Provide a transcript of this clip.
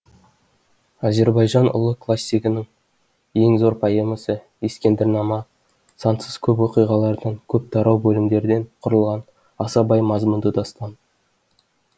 азербайжан ұлы классигінің ең зор поэмасы ескендір нама сансыз көп оқиғалардан көп тарау бөлімдерден құрылған аса бай мазмұнды дастан